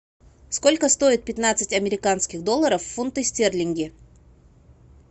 сколько стоит пятнадцать американских долларов в фунты стерлинги